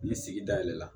Ni sigida yɛlɛla